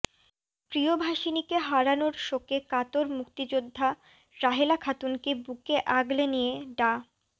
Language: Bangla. প্রিয়ভাষিণীকে হারানোর শোকে কাতর মুক্তিযোদ্ধা রাহেলা খাতুনকে বুকে আগলে নিয়ে ডা